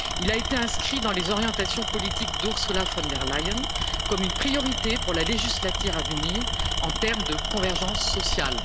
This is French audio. Il a été inscrit dans les orientations politiques d'Ursula von der Leyen comme une priorité pour la législature à venir en termes de convergence sociale.